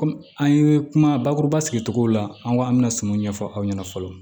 Kɔmi an ye kuma bakuruba sigicogo la an ko an bɛna singɔ ɲɛfɔ aw ɲɛna fɔlɔ